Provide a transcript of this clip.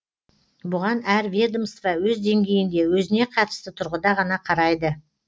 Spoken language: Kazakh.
бұған әр ведомство өз деңгейінде өзіне қатысты тұрғыда ғана қарайды